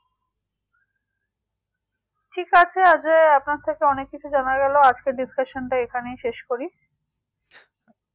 ঠিক আছে যে আপনার থেকে অনেক কিছু জানা গেলো আজকের discussion টা এখাইনেই শেষ করি